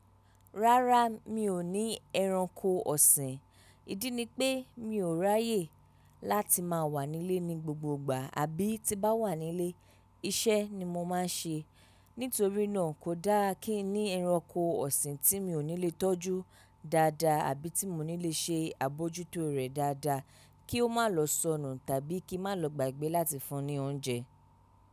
Rárá mi ò ní ẹranko ọ̀sìn, ìdí ni pé mi ò ráyè láti máa wà nílé ní gbogbo ìgbà àbí tí n bá wà nílé iṣẹ́ ni mo máa ń ṣe. Nítorí náà kò dáa kí n ní ẹranko ọ̀sìn tí mi ò ní lè tọ́jú dáadáa àbí tí mo ní lè ṣe àbojútó rẹ̀ dáadáa kí ó má lọ sọnù tàbí kí má lọ gba ìgbẹ́ láti fún ní oúnjẹ.